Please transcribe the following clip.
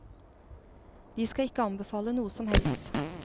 De skal ikke anbefale noe som helst.